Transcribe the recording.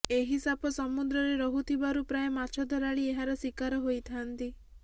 ଏହି ସାପ ସମୁଦ୍ରରେ ରହୁଥିବାରୁ ପ୍ରାୟ ମାଛ ଧରାଳୀ ଏହାର ଶିକାର ହୋଇଥାନ୍ତି